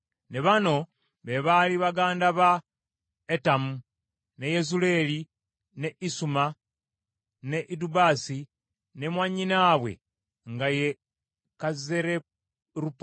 Ne bano, be baali baganda ba Etamu, ne Yezuleeri, ne Isuma, ne Idubasi, ne mwannyinaabwe nga ye Kazzereruponi.